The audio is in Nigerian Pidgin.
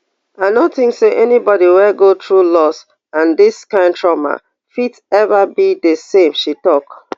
i no tink say anybody wey go through loss and dis kain trauma fit ever be di same she tok